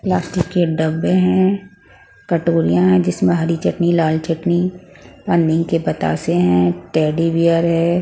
Plastic के डब्बे हैं कटोरियां हैं जिसमें हरी चटनी लाल चटनी अननी के पतासे हैं टैडी बेयर है ।